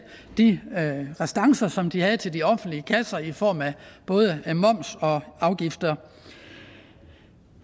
de restancer som de havde til de offentlige kasser i form af både moms og afgifter